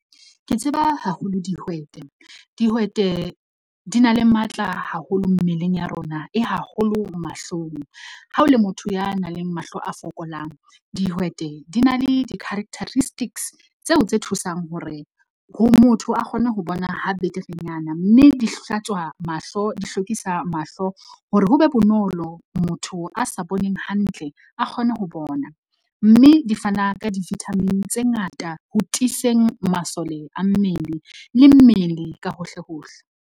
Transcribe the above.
Ke tseba haholo dihwete. Dihwete di na le matla haholo mmeleng ya rona e haholo mahlong. Ha o le motho ya nang le mahlo a fokolang, dihwete di na le di-characteristics tseo tse thusang ho re ho motho a kgone ho bona ha beterenyana, mme di hlatswa mahlo, di hlokisa mahlo hore ho be bonolo motho a sa boneng hantle a kgone ho bona, mme di fana ka di-vitamin tse ngata ho tiiseng masole a mmele le mmele ka hohle hohle.